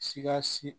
Sika si